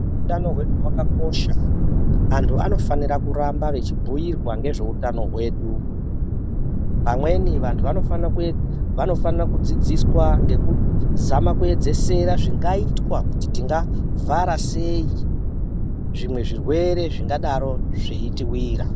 Hutano hwedu hwakakosha antu anofana kuramba vachibhuirwa vantu nezvehutano hwedu amweni antu anofana kudzidziswa nekuzama kuedzesera zvingaitwa kuti tingazama kuvhara sei zvimwe zvirwere zvingadaro zveitiwira.